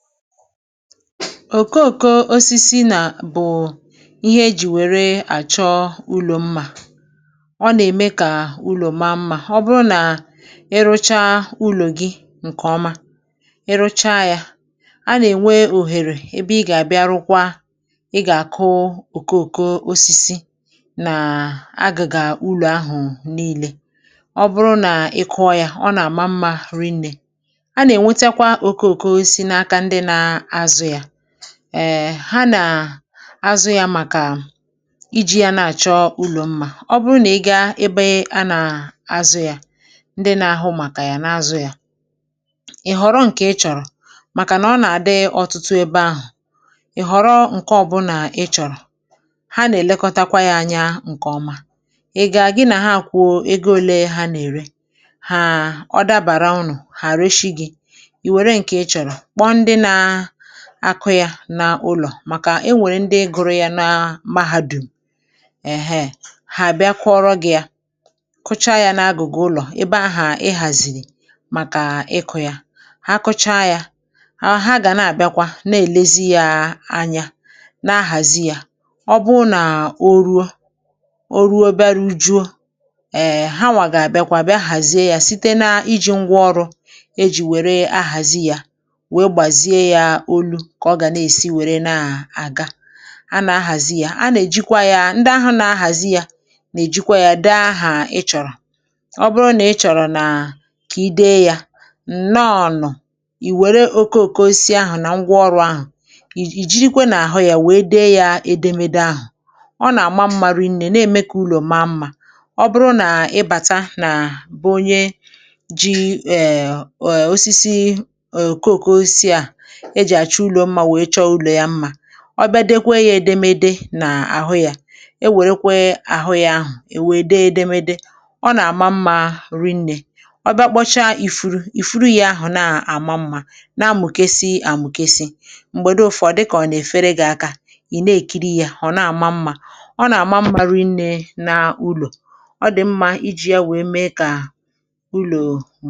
Osisi bụ ihe dị mkpa eji arụ ụlọ, n’ihi na ọ na-eme ka ụlọ maa mma. Ọ bụrụ na ị mechaa ụlọ gị nke ọma, um i nwere ike itinye ọrụ osisi nke ga-eme ka ụlọ ahụ maa mma karịa. Mgbe ịchọrọ ịzụta osisi maka iwuli ụlọ, um ị ga-aga ebe a na-ere ya. N’ebe ahụ, i nwere ike họrọ ụdị ịchọrọ, n’ihi na e nwere ọtụtụ ụdị dị iche iche. I họrọ nke dabara gị, ma lelee àgwà ya. Mgbe i họrọchara, i kwụọ ụgwọ. Ọ bụrụ na ọ dị ọnụ ala, i were ya lọrụ jiri ya. E nwekwara ndị ọrụ osisi na ndị ọrụ aka, um ndị mụtara ọrụ n’ụlọ akwụkwọ ma ọ bụ n’ụlọ mahadum, ndị nwere ike ịbịa rụọ ọrụ ahụ maka gị. Ha na-egbutu ma na-akpụ osisi ka ọ dabara n’owuwu ụlọ ahụ. Mgbe ha gbutachara ma hazie ya, ha na-enyocha ya ka ọ bụrụ nke e tinyere nke ọma. Ọ bụrụ na ọ dị mkpa, um ha na-alọghachi jiri ngwá ọrụ kwesịrị ekwesị hazie ya ruo mgbe ọ dị larịị nke ọma. Osisi nwekwara ike iji ya mee ihe ịchọ mma. Dịka ọmụmaatụ, um ma ọ bụrụ na ịchọrọ ka e kpaa ihe oyiyi ma ọ bụ àkpụkpụ, i weere osisi wee jiri ngwá ọrụ mee ihe atụ n’ahụ ya. Nke a na-enye ụlọ ahụ mma na ịdị uchu. Mgbe e mechara ya nke ọma, elu osisi ahụ na-enwu, ihe atụ ahụ na-apụta nke ọma. Onye ọbụla hụrụ ya ga-ama na ọ na-agbakwunye mma n’ụlọ ahụ. N’ihi nke a, um a na-ewere osisi dị ka ihe dị mkpa n’iwuli ụlọ. Ọ bụ ihe siri ike, bara uru,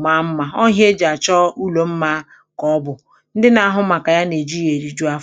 ma dịkwa mkpa n’ọrụ owuwu.